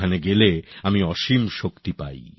ওখানে গেলে আমি অসীম শক্তি পাই